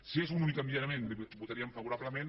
si és un únic enviament hi votaríem favorablement